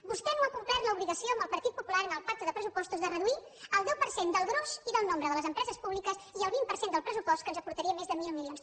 vostè no ha complert l’obligació amb el partit popular en el pacte de pressupostos de reduir el deu per cent del gruix i del nombre de les empreses públiques i el vint per cent del pressupost que ens aportaria més de mil milions